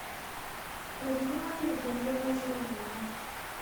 людмила евгеньевна журавлева